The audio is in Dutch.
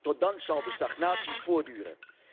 Tot dan zal de stagnatie voortduren.